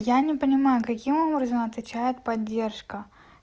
я не понимаю каким образом отвечает поддержка